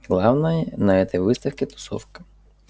главное на этой выставке тусовка